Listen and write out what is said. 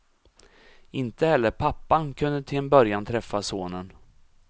Inte heller pappan kunde till en början träffa sonen.